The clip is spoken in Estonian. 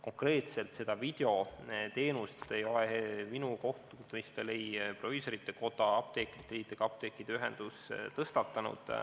Konkreetselt seda videoteenust ei ole minu kohtumistel ei proviisorite koda, apteekrite liit ega apteekide ühendus tõstatanud.